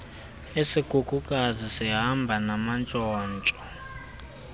isikhukukazi sihamba namantshontsho